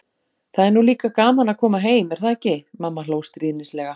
Það er nú líka gaman að koma heim, er það ekki? mamma hló stríðnislega.